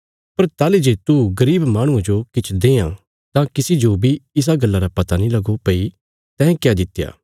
पर ताहली जे तू गरीब माहणुये जो किछ देआं तां किसी जो बी इसा गल्ला रा पता नीं लगो भई तैं क्या दित्या